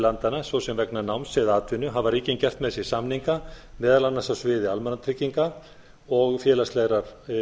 landanna svo sem vegna náms eða atvinnu hafa ríkin gert með sér samninga meðal annars á sviði almannatrygginga og félagslegrar